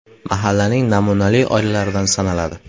Mahallaning namunali oilalaridan sanaladi.